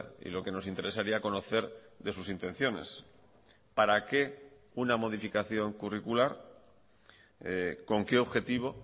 y lo que nos interesaría conocer de sus intenciones para qué una modificación curricular con qué objetivo